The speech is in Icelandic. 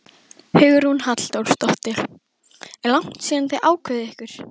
Hugrún Halldórsdóttir: Er langt síðan þið ákváðuð ykkur?